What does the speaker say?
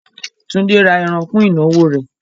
Túndé ra ẹran fún ìnáwó rẹ̀.